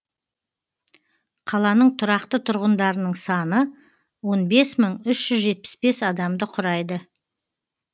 қаланың тұрақты тұрғындарының саны он бес мың үш жүз жетпіс бес адамды құрайды